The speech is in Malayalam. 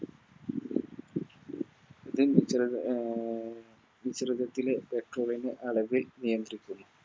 ലെ Petrol ൻറെ അളവ് നിയന്ത്രിക്കുന്നു